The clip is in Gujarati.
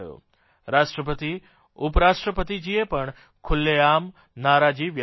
રાષ્ટ્રપતિ ઉપરાષ્ટ્રપતિજીએ પણ ખુલ્લેઆમ નારાજી વ્યકત કરી